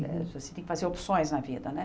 Você tem que fazer opções na vida, né?